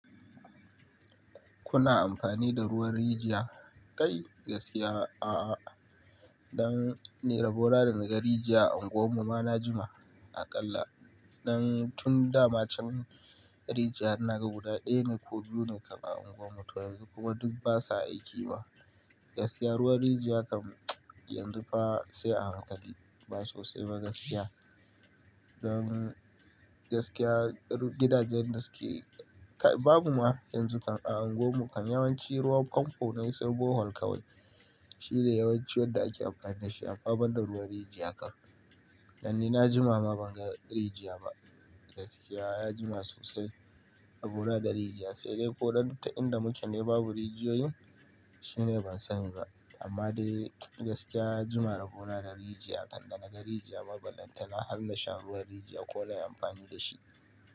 Kuna amfani da ruwan rijiya? Kai gaskiya a'a. Don ni rabona da naga rijiya a unguwar mu ma na jima aƙalla. Don tun da ma can rijiya ina ga guda ɗaya ne ko biyu ne kaba a unguwar mu, to yanzu kuma duk basa aiki ba. Gaskiya ruwan rijiya kan yanzu fa sai a hankali ba sosai ba gaskiya. Don gaskiya gidajen da suke-- kai babu ma yanzu kan a unguwar mu kan yawanci ruwan famfo na iso Bohol kawai. Shi ne yawanci wanda ake amfani da shi a amma da ba da ruwan rijiya kan. Dan ni na jima ma ban ga rijiya ba. Gaskiya na jima sosai a rabona da rijiya, sai dai ko don ta inda muke ne babu rijiyoyin shine ban sani ba. Amma dai gaskiya na jima rabo na da rijiya, kanda naga rijiya babu lantana har na sha ruwan rijiya ko na yi amfani da shi.